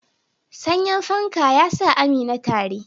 Sanyin fanka ya sa Amina tari.